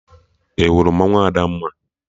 Ị hụrụ mmanwụ Adamma?